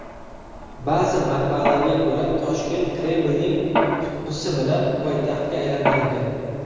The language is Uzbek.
Ba’zi manbalarga ko‘ra Toshkent Kremlning qutqusi bilan poytaxtga aylantirilgan.